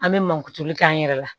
An bɛ mankutuli k'an yɛrɛ la